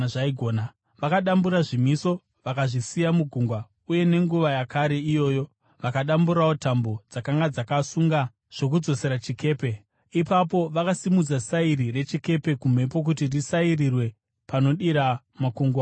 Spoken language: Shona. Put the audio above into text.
Vakadambura zvimiso, vakazvisiya mugungwa uye nenguva yakare iyoyo vakadamburawo tambo dzakanga dzakasunga zvokudzoresa chikepe. Ipapo vakasimudza sairi rechikepe kumhepo kuti risairirwe panodira makungwa maviri.